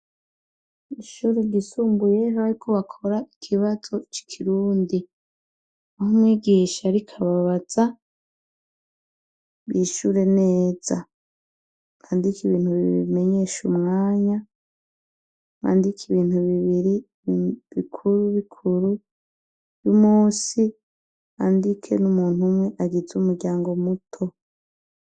Ishuri ryisumbuye bariko bakora ikibazo c'ikirundi, aho umwigisha ariko ababaza bishure neza, bandike ibintu bibiri bimenyesha umwanya, bandike ibintu bibiri bikuru bikuru, musi bandike n'umuntu umwe agize umuryango muto.